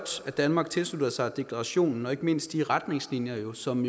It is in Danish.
at danmark tilslutter sig deklarationen og ikke mindst de klare retningslinjer som